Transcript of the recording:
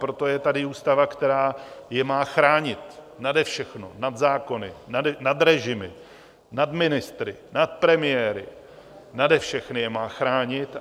Proto je tady ústava, která je má chránit, nade všechno, nad zákony, nad režimy, nad ministry, nad premiéry, nade všechny je má chránit.